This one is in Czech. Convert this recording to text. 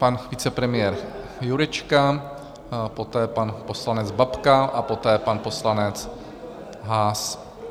Pan vicepremiér Jurečka, poté pan poslanec Babka a poté pan poslanec Haas.